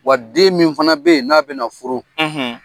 Wa den min fana be yen n'a bi na furu